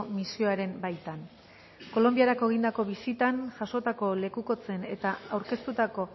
misioaren baitan kolonbiarako egindako bisitan jasotako lekukotzen eta aurkeztutako